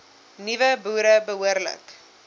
nuwe boere behoorlik